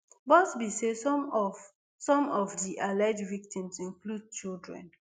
buzbee say some of some of di alleged victims include children